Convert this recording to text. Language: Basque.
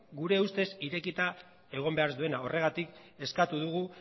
gure ustez irekita egon behar ez duena horregatik eskatu dugu